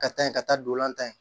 Ka taa yen ka taa don an ta ye